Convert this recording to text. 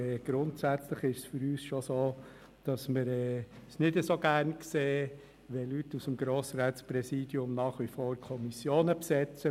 Grundsätzlich sehen wir es aber tatsächlich nicht so gerne, wenn Leute aus dem Grossratspräsidium nach wie vor Kommissionen besetzen.